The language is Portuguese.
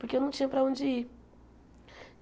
Porque eu não tinha para onde ir.